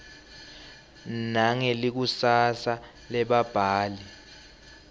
nangelikusasa lebabhali